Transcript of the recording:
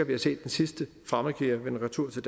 vi har set den sidste fremmedkriger komme retur til